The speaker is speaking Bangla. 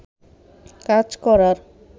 কাজ করার